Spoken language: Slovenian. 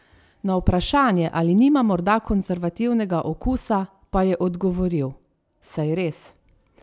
Na vprašanje, ali nima morda konservativnega okusa, pa je odgovoril: "Saj res.